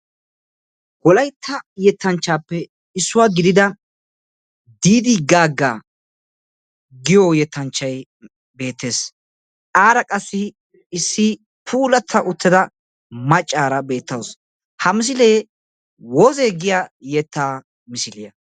Wolaytta yettanchaappe issuwa gidida " Diidi Gaagga " giyo yettanchay beettes. Aara qassi issi puulatta uttida maccaara beettawus. Ha misile " woze " giya yettaa misiliya.